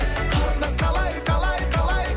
қарындас қалай қалай қалай